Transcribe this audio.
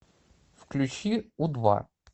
включи у два